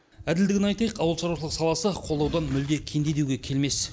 әділдігін айтайық ауылшаруашылық саласы қолдаудан мүлде кенде деуге келмес